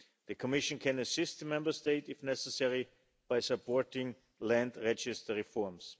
The Commission can assist the Member State, if necessary, by supporting Land Registry reforms.